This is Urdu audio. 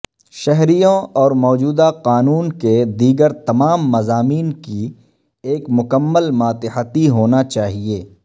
شہریوں اور موجودہ قانون کے دیگر تمام مضامین کی ایک مکمل ماتحتی ہونا چاہئے